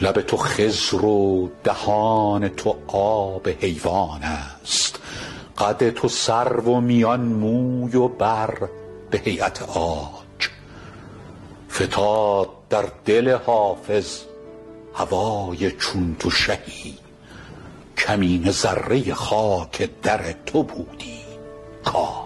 لب تو خضر و دهان تو آب حیوان است قد تو سرو و میان موی و بر به هییت عاج فتاد در دل حافظ هوای چون تو شهی کمینه ذره خاک در تو بودی کاج